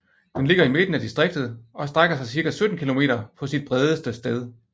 Den ligger i midten af distriktet og strækker sig ca 17 km på sit bredeste sted